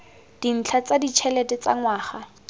dintlha tsa ditšhelete tsa ngwaga